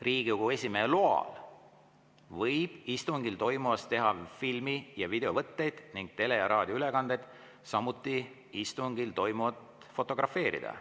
Riigikogu esimehe loal võib istungil toimuvast teha filmi- ja videovõtteid ning tele- ja raadioülekandeid, samuti istungil toimuvat fotografeerida.